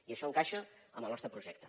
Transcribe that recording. i això encaixa amb el nostre projecte